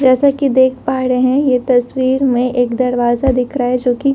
जैसा कि देख पा रहे है ये तस्वीर में एक दरवाजा दिख रहा है जो की--